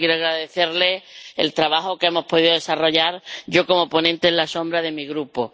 Así que quiero agradecerle el trabajo que hemos podido desarrollar —yo como ponente alternativa de mi Grupo—.